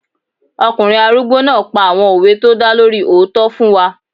Ọkùnrin arúgbó náà pa àwọn òwe tó dá lórí òótọ́ fún wa